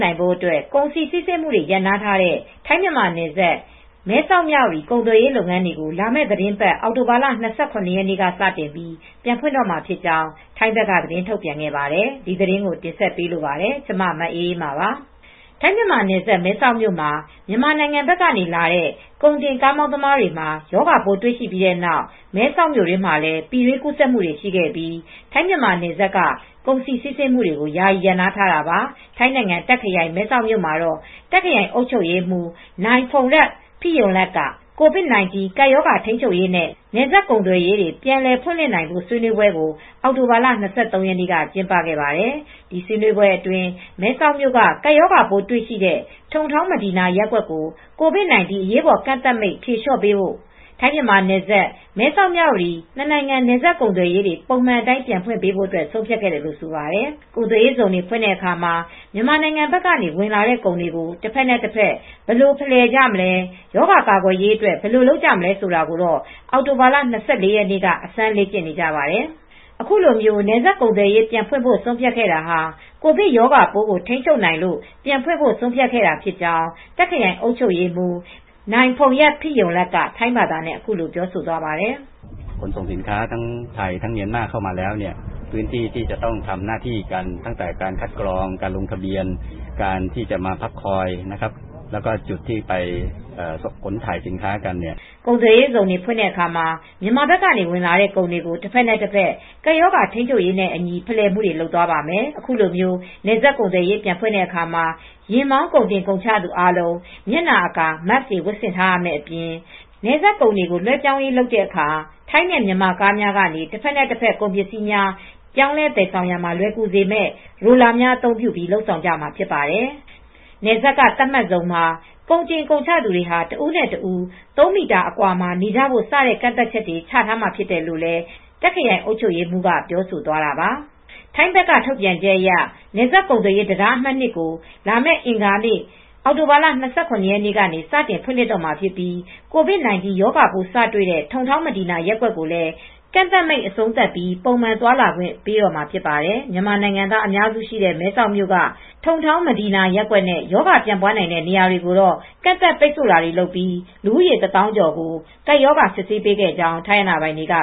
နိုင်ဖို့အတွက် ကုန်စည်စီးဆင်းမှုတွေ ရပ်နားထားတဲ့ ထိုင်း-မြန်မာနယ်စပ် မဲဆောက်-မြဝတီ ကုန်သွယ်ရေးလုပ်ငန်းတွေကို လာမယ့်သီတင်းပတ် အောက်တိုဘာလ ၂၇ ရက်နေ့ကစပြီး ပြန်ဖွင့်တော့မှာဖြစ်ကြောင်း ထိုင်းဘက်က သတင်းထုတ်ပြန်ခဲ့ပါတယ်။ အပြည့်အစုံကို ထိုင်းအခြေစိုက် ဗွီအိုအေမြန်မာပိုင်း သတင်းထောက် မအေးအေးမာ တင်ပြပေးထားပါတယ်။ ထိုင်း-မြန်မာနယ်စပ် မဲဆောက်မြို့မှာ မြန်မာနိုင်ငံဘက်ကလာတဲ့ ကုန်တင်ကားမောင်းသမားတွေမှာ ရောဂါပိုး တွေ့ရှိပြီးတဲ့နောက် မဲဆောက်မြို့တွင်းမှာလည်း ပြည်တွင်းကူးစက်မုှုတွေ ရှိခဲ့ပြီး ထိုင်း-မြန်မာနယ်စပ်က ကုန်စည်စီးဆင်းမှုတွေကို ယာယီရပ်နားထားတာပါ။ ထိုင်းနိုင်ငံ တာ့ခ်ခရိုင် မဲဆောက်မြို့မှာ တာ့ခ်ခရိုင်အုပ်ချုပ်ရေးမှူး Mr. Pongrat Phiromrat က COVID-19 ကပ်ရောဂါထိန်းချုပ်ရေးနဲ့ နယ်စပ်ကုန်သွယ်ရေး ပြန်လည်ဖွင့်လှစ်နိုင်ဖို့ ဆွေးနွေးပေွဲကို အောက်တိုဘာလ ၂၃ ရက်နေ့က ကျင်းပခဲ့ပါတယ်။ ဒီဆွေးနွေးပွဲအတွင်း မဲဆောက်မြို့က ကပ်ရောဂါပိုးတွေ့ရှိတဲ့ ထုံထောင်း မဒီနာရပ်ကွက်ကို COVID-19 အရေးပေါ်ကန့်သတ်မိန့် ဖြေလျှော့ပေးဖို့ ထိုင်း-မြန်မာ မဲဆောက်-မြဝတီ နှစ်နိုင်ငံ နယ်စပ်ကုန်သွယ်ရေး ပုံမှန်အတိုင်း ပြန်ဖွင့်ပေးဖို့ ဆုံးဖြတ်ခဲ့တယ်လို့ ဆိုပါတယ်။ ကုန်သွယ်ရေးဇုန် ဖွင့်တဲ့အခါ မြန်မာနိုင်ငံဘက်က ဝင်လာတဲ့ ကုန်တွေကို တဖက်နဲ့တဖက် ဘယ်လိုဖလှယ်ကြမလဲ၊ ရောဂါကာကွယ်ရေးအတွက် ဘယ်လိုလုပ်မလဲ ဆိုတာကိုတော့ အောက်တိုဘာလ ၂၄ ရက်နေ့က အစမ်းလေ့ကျင့်နေကြပါတယ်။ အခုလို နယ်စပ်ကုန်သွယ်ရေး ပြန်ဖွင့်ဖို့ ဆုံးဖြတ်ခဲ့တာဟာ ကိုဗစ်ရောဂါပိုးကို ထိန်းချုပ်နိုင်လို့ ပြန်ဖွင့်ဖို့ ဆုံးဖြတ်ခဲ့တာဖြစ်ကြောင်း တာ့ခ်ခရိုင် အုပ်ချုပ်ရေးမှူး Mr. Pongrat Phiromrat က ထိုင်းဘာသာနဲ့ အခုလို ပြောဆိုသွားပါတယ်။ “ကုန်သွယ်ရေးဇုန် ဖွင့်တဲ့အခါ မြန်မာနိုင်ငံဘက်က ဝင်လာတဲ့ ကုန်တွေကို တဖက်နဲ့တဖက် ကပ်ရောဂါထိန်းချုပ်ရေးနဲ့အညီ ဖလှယ်မှုတွေ လုပ်သွားပါမယ်။ အခုလို နယ်စပ်ကုန်သွယ်ရေး ပြန်ဖွင့်တဲ့အခါ ယဉ်မောင်း ကုန်တင်ကုန်ချသူအားလုံး မျက်နှာအကာ (Mask) တွေ ဝတ်ဆင်ထားရမယ့်အပြင် နယ်စပ်ကုန်တွေ လွဲှပြောင်းရေးလုပ်တဲ့အခါ ထိုင်းနဲ့ မြန်မာကားများကနေ တဖက်တဖက် ကုန်ပစ္စည်းများ ပြောင်းလဲသယ်ဆောင်ရာမှာ လွယ်ကူစေမယ့် Roller များ အသုံးပြုပြီး လုပ်ဆောင်ကြရမှာဖြစ်ပါတယ်။ နယ်စပ်က သတ်မှတ်ဇုန်မှာ ကုန်တင်ကုန်ချသူတွေဟာ တဦးနဲ့တဦး သုံးမီတာအကွာ နေကြဖို့ စတဲ့ ကန့်သတ်ချက်တွေ ချထားမှာဖြစ်တယ်” လို့လည်း တာ့ခ်ခရိုင် အုပ်ချုပ်ရေးမှူးက ပြောဆိုသွားတာပါ။ ထိုင်းဘက်က ထုတ်ပြန်ချက်အရ နယ်စပ်ကုန်သွယ်ရေး တံတားအမှတ် ၂ ကို လာမယ့် အင်္ဂါနေ့ အောက်တိုဘာလ ၂၇ ရက်နေ့ကစပြီး ပြန်လည်ဖွင့်လှစ်တော့မှာဖြစ်ပြီး COVID-19 ရောဂါပိုး စတွေ့တဲ့ ထုံထောင်း မဒီနာရပ်ကွက်ကိုလည်း ကန့်သတ်မိန့် အဆုံးသတ်ပြီး ပုံမှန်သွားလာနေထိုင်ခွင့်တွေ ပေးတော့မှာဖြစ်ပါတယ်။ မြန်မာနိုင်ငံသားအများစုရှိတဲ့ မဲဆောက်မြို့က ထုံထောင်း မဒီနာရပ်ကွက်နဲ့ ရောဂါပြန့်ပွားနိုင်တဲ့ နေရာတွေကိုတော့ ကန့်သတ်ပိတ်ဆို့တာတွေ လုပ်ပြီး လူဦးရေ ၁၀,၁၇၇ ဦးကို ကပ်ရောဂါ စစ်ဆေးပေးခဲ့ကြောင်း ထိုင်းအာဏာပိုင်တွေက